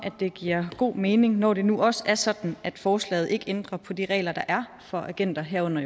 det giver god mening når det nu også er sådan at forslaget ikke ændrer på de regler der er for agenter herunder